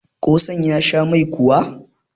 kosan ya Sha Mai kuwa?